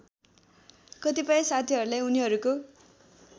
कतिपय साथीहरूलाई उनीहरूको